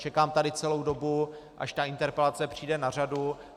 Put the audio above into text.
Čekám tady celou dobu, až ta interpelace přijde na řadu.